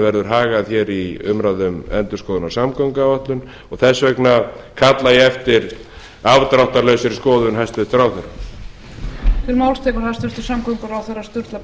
verður hagað hér umræðum um endurskoðun á samgönguáætlun og þess vegna kalla ég eftir afdráttarlausri skoðun hæstvirtur ráðherra